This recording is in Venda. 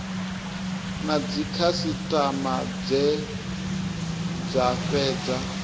na dzikhasitama dze dza fhedza